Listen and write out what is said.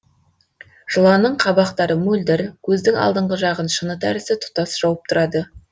жыланның қабақтары мөлдір көздің алдыңғы жағын шыны тәрізді тұтас жауып тұрады